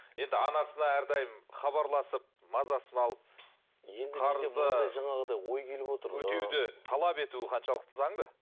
енді анасына әрдайым хабарласып мазасын алып қарызды жаңағыдай ой келіп отыр өтеуді талап етуі қаншалықты заңды